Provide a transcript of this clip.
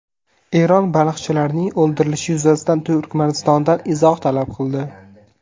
Eron baliqchilarning o‘ldirilishi yuzasidan Turkmanistondan izoh talab qildi.